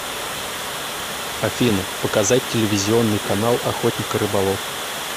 афина показать телевизионный канал охотник и рыболов